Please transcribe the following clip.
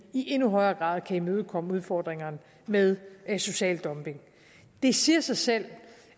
i endnu højere grad kan imødekomme udfordringerne med social dumping det siger sig selv